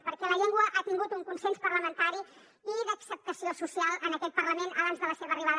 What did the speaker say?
perquè la llengua ha tingut un consens parlamentari i d’acceptació social en aquest parlament abans de la seva arribada